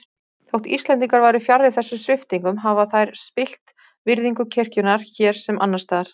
Þótt Íslendingar væru fjarri þessum sviptingum hafa þær spillt virðingu kirkjunnar hér sem annars staðar.